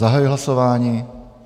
Zahajuji hlasování.